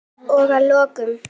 Og að lokum.